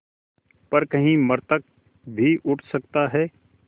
पर कहीं मृतक भी उठ सकता है